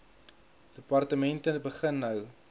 departemente begin nou